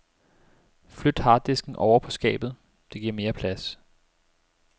Flyt harddisken ovre på skabet, det giver mere plads.